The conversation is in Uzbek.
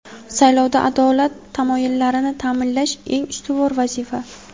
Saylovda adolat tamoyillarini taʼminlash eng ustuvor vazifa.